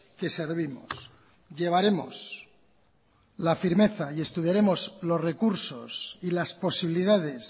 que servimos llevaremos la firmeza y estudiaremos los recursos y las posibilidades